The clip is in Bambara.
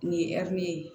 Nin ye ɛri ye